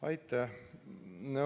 Aitäh!